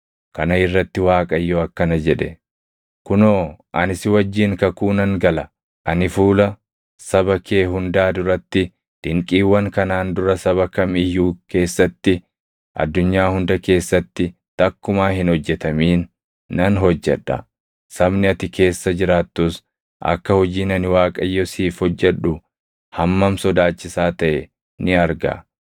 Kana irratti Waaqayyo akkana jedhe; “Kunoo ani si wajjin kakuu nan gala. Ani fuula saba kee hundaa duratti dinqiiwwan kanaan dura saba kam iyyuu keessatti, addunyaa hunda keessatti takkumaa hin hojjetamin nan hojjedha. Sabni ati keessa jiraattus akka hojiin ani Waaqayyo siif hojjedhu hammam sodaachisaa taʼe ni arga.